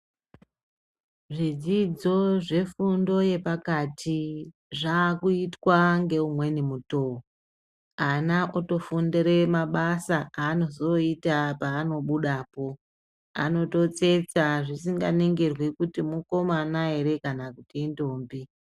Zvidzidzo zvefundo yepakati zvakuitwa ngeumweni mutoo, ana otofundire mabasa aanozoita paanozobudapo, anototsetsa zvisinganingirwi kuti mukomana ere kana kuti indombi.